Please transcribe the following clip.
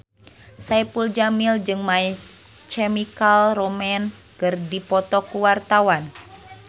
Saipul Jamil jeung My Chemical Romance keur dipoto ku wartawan